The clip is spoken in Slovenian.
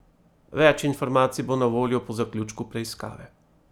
Več informacij bo na voljo po zaključku preiskave.